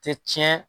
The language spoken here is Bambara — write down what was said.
Tɛ tiɲɛ